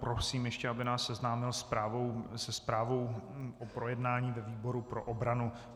Prosím ještě, aby nás seznámil se zprávou o projednání ve výboru pro obranu.